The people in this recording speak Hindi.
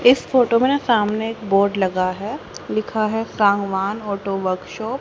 इस फोटो में न सामने एक बोर्ड लगा है लिखा है शाहवान ऑटो वर्कशॉप ।